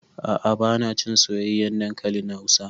A'a ba na cin soyayyen dankalin hausa